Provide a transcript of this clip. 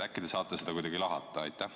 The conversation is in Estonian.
Äkki te saate seda kuidagi lahata?